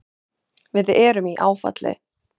Við erum í áfalli.